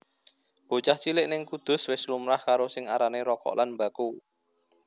Bocah cilik ning Kudus wis lumrah karo sing arane rokok lan mbako